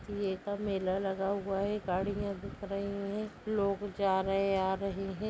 का मेला लगा हुआ है गाड़ियां दिख रही है लोग जा रहे है। आ रहे है।